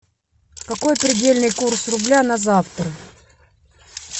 какой предельный курс рубля на завтра